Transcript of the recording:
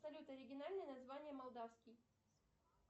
салют оригинальное название молдавский